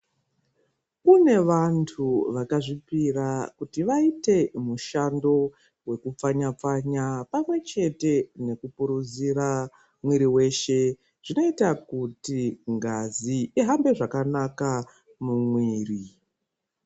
Kune vantu vakazvipira kuti vaite mushando wekupfanya-pfanya pamwechete nekupuruzira mwiri weshe zvinoita kuti ngazi ihambe zvakanaka mumwiri.